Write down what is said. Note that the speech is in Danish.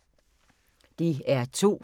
DR2